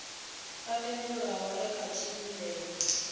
o tendelwaho e kha tshivhumbeo